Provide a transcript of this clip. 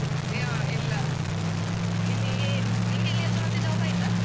ಆ ಇಲ್ಲಾ ನಿಮಗೆ ನಿಂಗೆ ಎಲ್ಲಿಯಾದ್ರೂಮತ್ತೆ job ಆಯ್ತಾ?